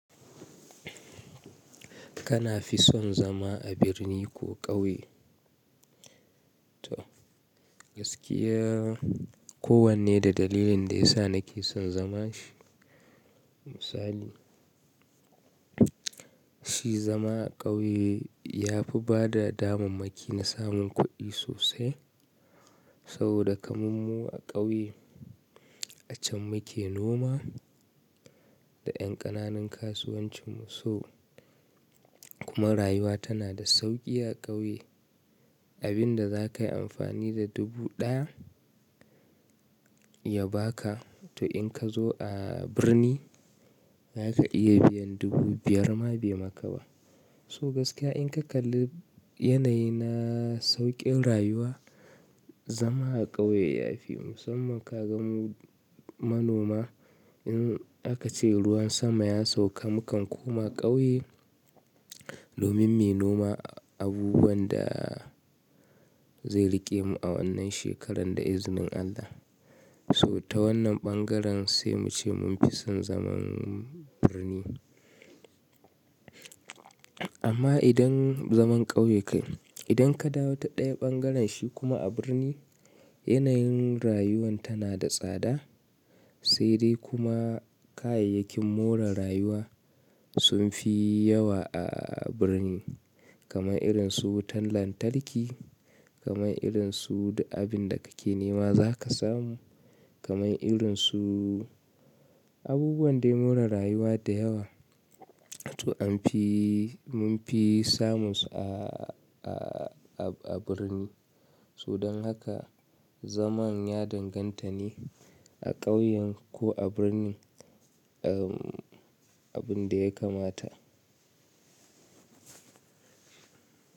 Kana fi son zama a birni ko ƙauye? To gaskiya, kowanne da dalilin da ya sa nake son zaman shi. Misali, shi zama a ƙauye ya fi bada damammaki na samun kuɗi sosai. Saboda kaman mu a ƙauye, a can muke noma da ƴan ƙananun kasuwancin mu. So kuma rayuwa tana da sauƙi a ƙauye. Abin da za ka yi amfani da dubu ɗaya ya ba ka, to in ka zo a birni ba za ka iya biyan dubu biyar ma bai maka ba. So gaskiya in ka kalli yanayi na sauƙin rayuwa, zama a ƙauye ya fi. Musamman ka gan mu manoma, in aka ce ruwan sama ya sauka mu kan koma ƙauye, domin mu yi noma abubuwan da zai riƙe mu a wannan shekarar da izinin Allah. So ta wannan ɓangaren sai mu ce mun fi son zaman birni. Amma idan zaman ƙauye kai, idan ka dawo ta ɗaya ɓangaren shi kuma a birni yanayin rayuwan tana da tsada, sai dai kuma kayayyakin more rayuwa sun fi yawa a birni. Kaman irin su wutan lantarki, kaman irin su duk abin da kake nema za ka samu, kaman irin su abubuwan dai more rayuwa da yawa. To an fi, mun fi samu su a, a, a birni. So don haka zaman ya danganta ne a ƙauyen ko a birni, um, abin da ya kamata.